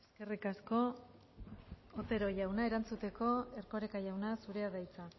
eskerrik asko otero jauna erantzuteko erkoreka jauna zurea da hitza